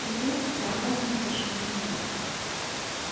ребята довольно зашумели